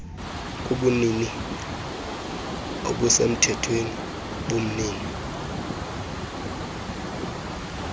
kubunini obusemthethweni bomnini